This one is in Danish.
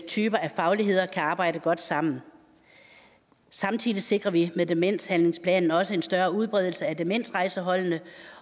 typer af fagligheder kan arbejde godt sammen samtidig sikrer vi med demenshandlingsplanen også en større udbredelse af demensrejseholdene